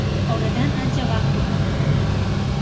Oradan ancha vaqt o‘tdi.